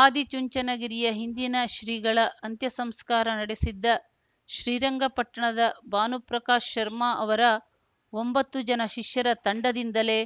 ಆದಿ ಚುಂಚನಗಿರಿಯ ಹಿಂದಿನ ಶ್ರೀಗಳ ಅಂತ್ಯಸಂಸ್ಕಾರ ನಡೆಸಿದ್ದ ಶ್ರೀರಂಗಪಟ್ಟಣದ ಭಾನುಪ್ರಕಾಶ್ ಶರ್ಮಾ ಅವರ ಒಂಬತ್ತು ಜನ ಶಿಷ್ಯರ ತಂಡದಿಂದಲೇ